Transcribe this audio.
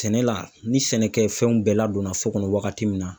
Sɛnɛ la, ni sɛnɛkɛfɛnw bɛɛ ladonna so kɔnɔ wagati min na